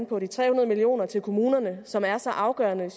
på de tre hundrede million kroner til kommunerne som er så afgørende